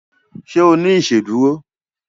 ṣe o ní iṣeduro?